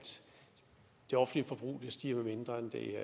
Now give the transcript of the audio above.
det offentlige forbrug vil stige mindre end det